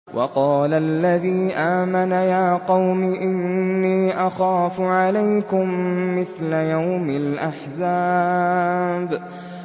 وَقَالَ الَّذِي آمَنَ يَا قَوْمِ إِنِّي أَخَافُ عَلَيْكُم مِّثْلَ يَوْمِ الْأَحْزَابِ